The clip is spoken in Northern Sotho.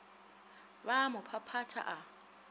ba a mo phaphatha a